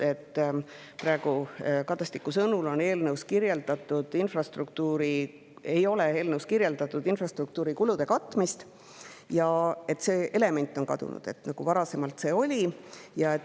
Praegu ei ole Kadastiku sõnul eelnõus kirjeldatud infrastruktuuri kulude katmist ja see element on kadunud, kuigi varasemalt see oli.